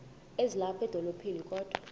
ezilapha edolophini kodwa